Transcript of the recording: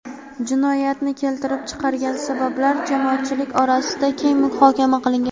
Jinoyatni keltirib chiqargan sabablar jamoatchilik orasida keng muhokama qilingan.